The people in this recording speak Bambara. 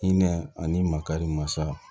Hinɛ ani makari masa